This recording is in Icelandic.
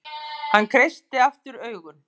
Hann kreistir aftur augun.